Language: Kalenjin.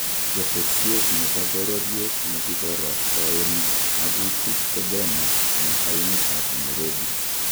Getesiet nebo bororiet negiborostoen magutik ko Bomas, en taonit ab Nairobi.